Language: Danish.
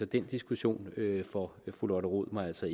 den diskussion får fru lotte rod mig altså